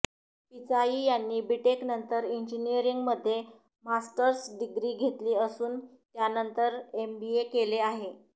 पिचाई यांनी बीटेक नंतर इन्जिनीअरिन्ग मध्ये मास्टर्स डिग्री घेतली असून त्यानंतर एमबीए केले आहे